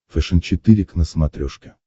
фэшен четыре к на смотрешке